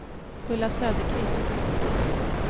Ulla Söderqvist